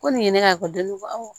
Ko nin ye ne ka kɔlli ye awɔ